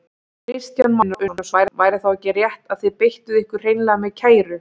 Kristján Már Unnarsson: Væri þá ekki rétt að þið beittuð ykkur hreinlega með kæru?